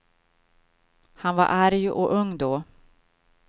Han var arg och ung då.